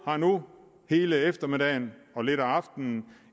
har nu hele eftermiddagen og lidt af aftenen